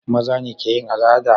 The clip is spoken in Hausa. mazane keyin al'ada